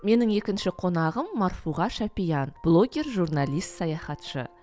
менің екінші қонағым марфуға шапиян блогер журналист саяхатшы